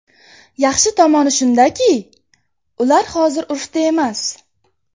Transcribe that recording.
Yaxshi tomoni shundaki, ular hozir urfda emas.